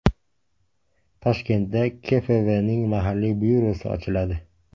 Toshkentda KfW’ning mahalliy byurosi ochiladi.